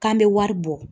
K'an bɛ wari bɔ